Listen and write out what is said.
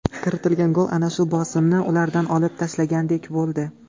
Kiritilgan gol ana shu bosimni ulardan olib tashlagandek bo‘ldi.